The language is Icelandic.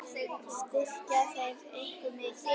Styrkja þeir ykkur mikið?